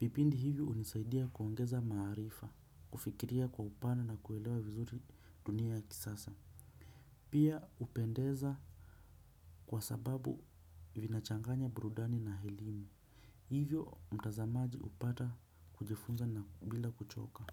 Vipindi hivyo hunisaidia kuongeza maarifa, kufikiria kwa upana na kuelewa vizuri dunia ya kisasa. Pia upendeza kwa sababu vinachanganya burudani na elimu. Hivyo mtazamaji upata kujifunza na kubila kuchoka.